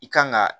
I kan ga